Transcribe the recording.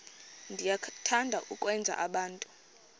niyathanda ukwenza abantu